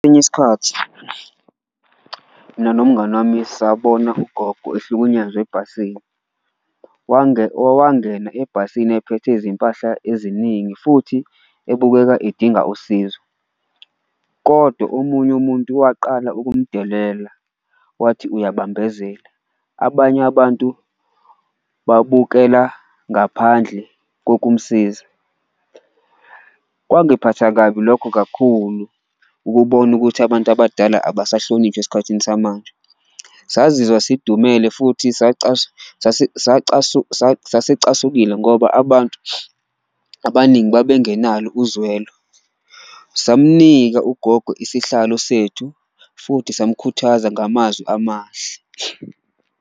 Isikhathi mina nomngani wami sabona ugogo ehlukunyezwa ebhasini, owangena ebhasini ephethe izimpahla eziningi futhi ebukeka edinga usizo, kodwa omunye umuntu waqala ukumdedela wathi uyabambezela, abanye abantu babukela ngaphandle kokumsiza. Kwangiphatha kabi lokho kakhulu ukubona futhi ukuthi abantu abadala abasahlonishwa esikhathini samanje, sazizwa sidumele futhi sasicasukile ngoba abantu abaningi babengenalo uzwelo. Samnika ugogo isihlalo sethu futhi samkhuthaza ngamazwi amahle.